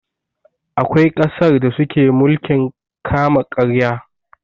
Akwai ƙasar da suke mulkin kama karya.